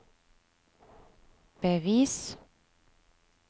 bevis